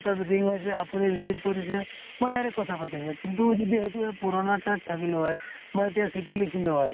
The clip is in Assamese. তাত ring হৈছে আপুনি receive কৰিছে মই direct কথা পাতিছো । কিন্তু যদি সেইটোয়ে পুৰণা তাত থাকিলো হয় মই এতিয়া চিঠি লিখিলো হয়